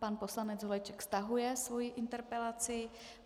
Pan poslanec Holeček stahuje svoji interpelaci.